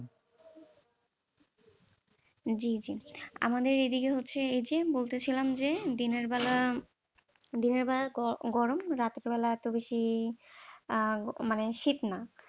জী জী আমাদের এইদিকে হচ্ছে এই যে বলতেছিলাম যে দিনের বেলা দিনের বেলা গরম রাতের বেলা এত বেশি মানে শীত না